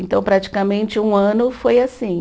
Então praticamente um ano foi assim.